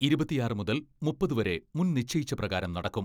ഇരുപത്തിയാറ് മുതൽ മുപ്പത് വരെ മുൻ നിശ്ചയിച്ച പ്രകാരം നടക്കും.